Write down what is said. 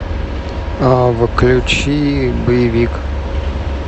включи боевик